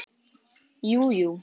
Jú, jú.